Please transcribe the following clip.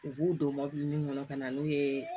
U b'u don kɔnɔ ka na n'u ye